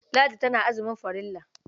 Ladi tana azumin farilla.